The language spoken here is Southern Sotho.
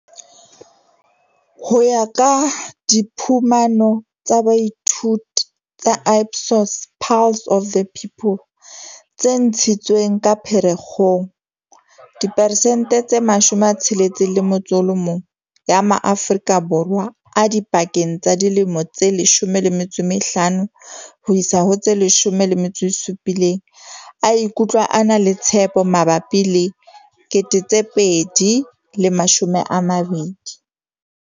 Ho ya ka diphumano tsa boithuto tsa Ipsos Pulse of the People tse ntshitsweng ka Pherekgong, diperesente tse 61 ya ma-Aforika Borwa a dipakeng tsa dilemo tse 15 ho isa ho tse 17 a ikutlwa a na le tshepo mabapi le 2020.